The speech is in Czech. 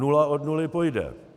Nula od nuly pojde.